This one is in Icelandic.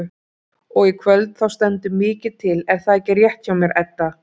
Og í kvöld þá stendur mikið til er það ekki rétt hjá mér Edda?